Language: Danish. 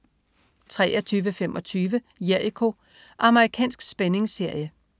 23.25 Jericho. Amerikansk spændingsserie